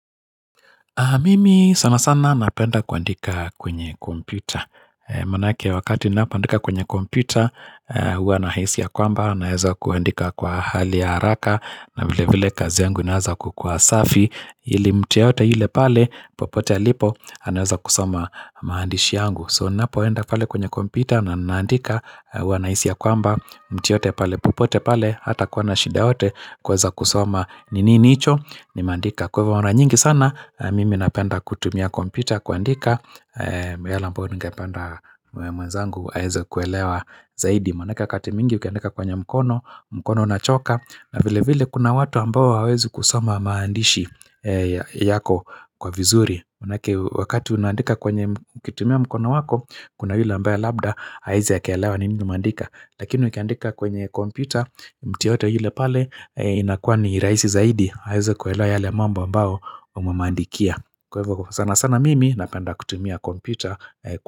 Mimi sana sana napenda kuandika kwenye kompyuta. Maanake wakati ninapoandika kwenye kompyuta, huwa nahisi ya kwamba, naeza kuandika kwa hali ya haraka, na vile vile kazi yangu inaweza kukua safi, ili mtu yeyote yule pale, popote alipo, anaweza kusoma maandishi yangu. So ninapo enda pale kwenye kompyuta, na ninaandika huwa nahaisi ya kwamba, mtu yeyote pale, popote pale, hatakuwa na shida yeyote, kuweza kusoma ni nini hicho, nimeandika. Kwa hivo mara nyingi sana, mimi napenda kutumia kompyuta kuandika yale ambayo ningependa mwenzangu aweze kuelewa zaidi maanake wakati mingi ukiandika kwenye mkono, mkono unachoka na vile vile kuna watu ambao hawawezi kusoma maandishi yako kwa vizuri maanake wakati unandika kwenye kitumia mkono wako Kuna hile mbao labda haezi akaelewa ni ningu mandika Lakini ukiandika kwenye kompyuta, mtu yeyote yule pale inakuwa ni rahisi zaidi aweze kuelewa yale mambo ambayo umemuandikia. Kwa hivyo sana sana mimi napenda kutumia kompyuta.